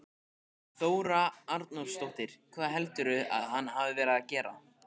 Þóra Arnórsdóttir: Hvað heldurðu að hann hafi verið að gera?